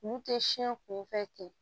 Olu tɛ siɲɛ kunfɛ ten